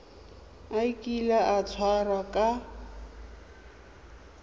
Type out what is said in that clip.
a kile a tshwarwa ka